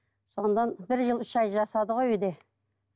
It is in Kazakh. содан бір жыл үш ай жатады ғой үйде